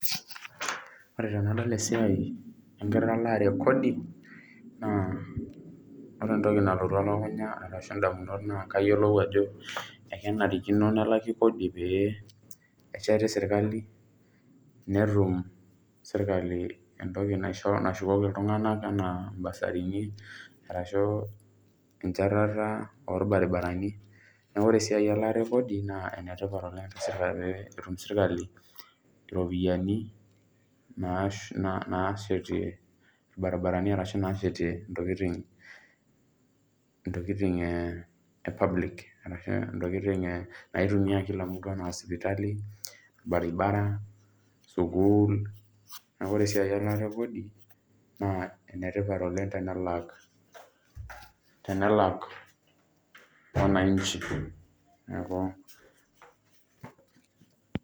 Ore tenadol esiai enkitalaare ekodi, naa ore entoki nalotu elukunya arashu indamunot naa kayiolou ajo, ekenarikino nelaki kodi pee esheti sirkali, netum sirkali entoki nashukoki iltung'anak enaa basarini, arashu enchatata orbaribarani, neeku ore esiai elaata ekodi, naa enetipat oleng pee etum sirkali iropiyiani naashetie irbaribarani arashu naashetie intokiting e public, arashu intokiting naitumia kila mtu anaa sipitali, orbaribara, sukuul, neeku ore esiai elaata ekodi, naa enetipat oleng tenelak, tenelak wananchi. Neeku.